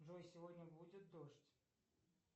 джой сегодня будет дождь